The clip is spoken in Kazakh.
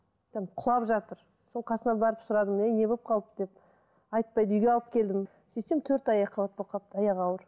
там құлап жатыр сол қасына барып сұрадым әй не болып қалды деп айтпайды үйге алып келдім сөйтсем төрт ай екіқабат болып қалып аяғы ауыр